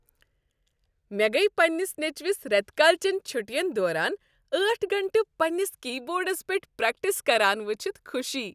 مےٚ گٔیہ پننس نیٚچوس ریتہٕ کالہ چن چھٹین دوران ٲٹھ گٲنٹہٕ پنٛنس کی بورڈس پیٹھ پریکٹس کران ؤچھتھ خوشی۔